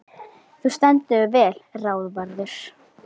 Þú stendur þig vel, Ráðvarður!